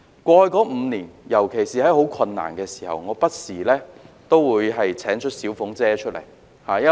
過去5年，尤其是在很困難的時候，我不時都會請出"小鳳姐"。